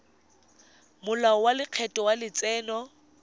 molao wa lekgetho wa letseno